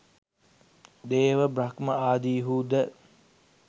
දේව බ්‍රහ්ම ආදීහු ද